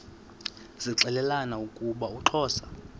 zixelelana ukuba uxhosa